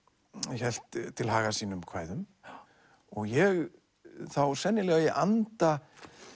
hélt til haga sínum kvæðum og ég þá sennilega í anda